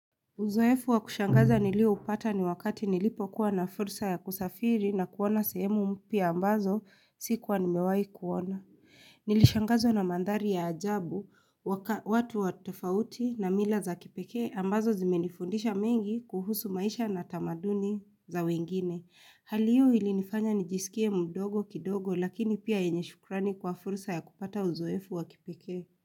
Uzoefu wa kushangaza nilioupata ni wakati nilipokuwa na fursa ya kusafiri na kuona sehemu mpya ambazo sikuwa nimewahi kuona. Nilishangazwa na mandhari ya ajabu, watu wa tofauti na mila za kipekee ambazo zimenifundisha mengi kuhusu maisha na tamaduni za wengine. Hali hiyo ilinifanya nijisikie mdogo kidogo lakini pia yenye shukrani kwa fursa ya kupata uzoefu wa kipekee.